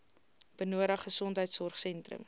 benodig gesondheidsorg sentrums